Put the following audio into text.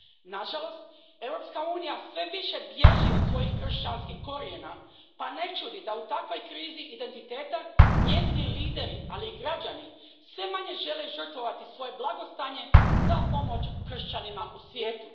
Nažalost, Europska unija sve više bježi od svojih kršćanskih korijena pa ne čudi da u takvoj krizi identiteta njezini lideri, ali i građani, sve manje žele žrtvovati svoje blagostanje za pomoć kršćanima u svijetu.